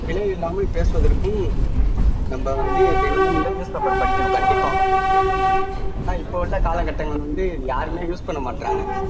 பிழையில்லாமல் பேசுவதற்கும் நம்ம வந்து தினமும் வந்து newspaper படிக்கணும் கண்டிப்பா ஆனா இப்போ உள்ள காலகட்டங்கள் வந்து யாருமே use பண்ண மாட்றாங்க